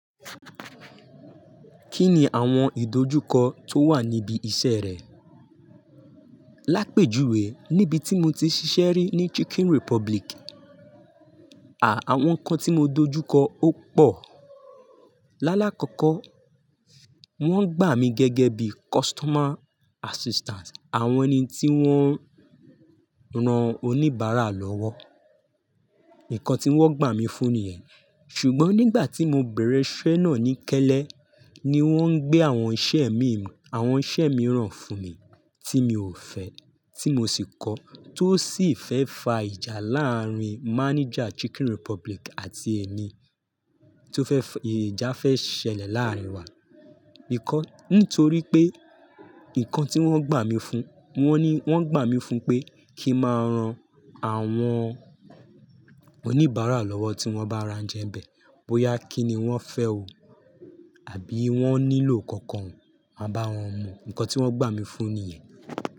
Kí ni àwọn ìdojúkọ tó wà níbi iṣẹ́ rẹ? Lápèjúwe, níbi tí mo tí ṣiṣẹ́ rí ní Chicken Republic, à, àwọn nǹkan tí mo dojúkọ ó pọ̀. Lálákọ̀ọ́kọ́, wón gbà mí gẹ́gẹ́ bíi customer assistant, àwọn ni tí wón ń ran oníbàárà lọ́wọ́. Nǹkan tí wón gbà mí fún ni yẹn, ṣùgbọ́n nígbà tí mo bẹ̀rẹ̀ iṣẹ́ náà ní kẹ́ẹ́lẹ́, ni wón ń gbé àwọn iṣẹ́ mím, àwọn iṣẹ́ mìíràn fún mi tí mi ò fẹ́, tí mo sì kọ̀ọ́ tó sì fẹ́ fa ìjà láàárín manager Chicken Republic àti èmi. Tó fẹ́ fi, ìjà fẹ́ ṣẹlẹ̀ láàárín wa. Nǹkan, nítorí pé, nǹkan tí wón gbà mí fún, wón ní, wón gbà mí fún pé kí máa ran àwọn oníbàárà lọ́wọ́ tí wọ́n bá ra oúnjẹ bẹ̀, bóyá kí ni wọ́n fẹ́ o àbí wọ́n nílò kankan, máa bá wọn mu. Nǹkan tí wọ́n gbà mí fún ni yẹn.